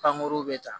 Pankuru bɛ ta